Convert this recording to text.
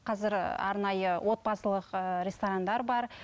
қазір арнайы отбасылық ыыы ресторандар бар